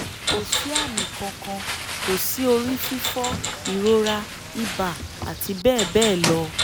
Ko si ami kan kan; Ko si ori fifo, irora, iba ati bebelo